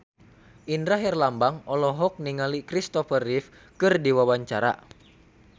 Indra Herlambang olohok ningali Kristopher Reeve keur diwawancara